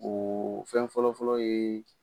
O fɛn fɔlɔ fɔlɔ ye